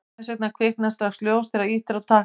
hvers vegna kviknar strax ljós þegar ýtt er á takka